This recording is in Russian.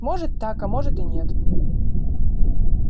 может так а может и нет